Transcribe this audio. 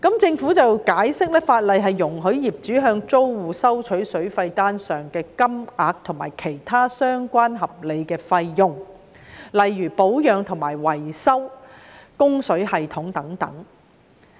政府解釋，法例容許業主向租戶收取水費單上的金額，以及其他相關合理的費用，例如保養和維修供水系統等。